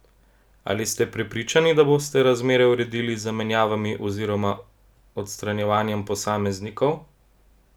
Ali ste prepričani, da boste razmere uredili z zamenjavami oziroma odstranjevanjem posameznikov?